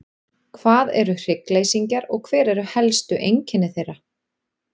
Hvað eru hryggleysingjar og hver eru helstu einkenni þeirra?